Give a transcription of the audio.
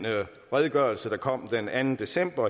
redegørelse der kom den anden december